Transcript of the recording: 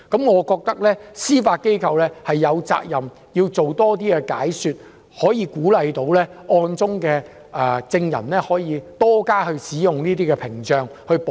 我認為司法機構有責任多作解說，鼓勵案中受害人及證人多加使用屏障自我保護。